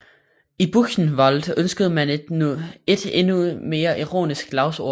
I Buchenwald ønskede man et endnu mere ironisk slagord